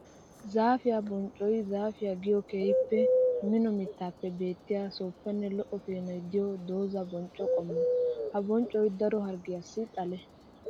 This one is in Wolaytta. Zaafiya bonccoy zaafiya giyo keehippe mino mittappe beettiya suufanne lo'o peenoy de'iyo dooza boncco qommo. Ha bonccoy daro harggiyassi xale.